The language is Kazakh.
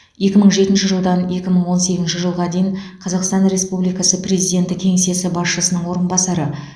екі мың жетінші жылдан екі мың он сегізінші жылға дейін қазақстан республикасы президенті кеңсесі басшысының орынбасары